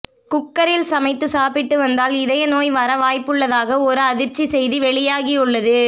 குக்கரில் சமைத்து சாப்பிட்டு வந்தால் இதய நோய் வர வாய்ப்புள்ளதாக ஒரு அதிர்ச்சி செய்தி வெளியாகியுள்ளது